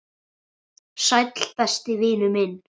Sæll, besti vinur minn.